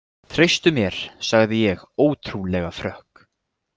Treystu mér, sagði ég ótrúlega frökk.